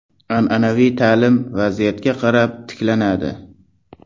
An’anaviy ta’lim vaziyatga qarab tiklanadi.